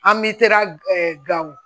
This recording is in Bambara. An bɛ tera gawo